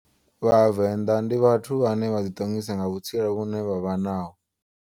Vhavenda ndi vhathu vhane vha ḓi ṱongisa nga vhutsila hune vha vha naho.